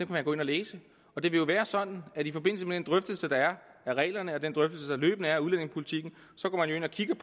man gå ind og læse og det vil være sådan at i forbindelse med den drøftelse der er af reglerne og den drøftelse der løbende er af udlændingepolitikken